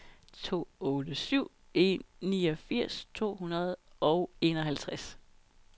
to otte syv en niogfirs to hundrede og enoghalvtreds